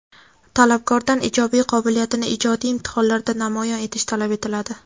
Talabgordan ijodiy qobiliyatini ijodiy imtihonlarda namoyon etishi talab etiladi.